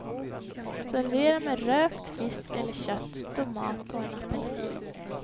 Servera med rökt fisk eller kött, tomat och en apelsin.